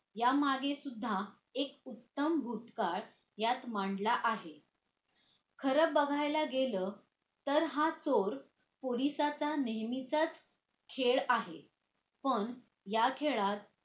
यामागे सुद्धा एक उत्तम भुतकाळ यात मांडला आहे खरं बघायला गेलं तर हा चोर पोलिसाचा नेहमीचाच खेळ आहे पण या खेळात